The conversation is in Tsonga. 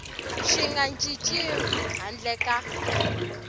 swi nga cinciwi handle ka